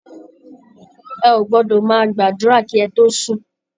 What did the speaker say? Ẹ ò gbọdọọ̀ má gbàdúrà kí ẹ tó sùn!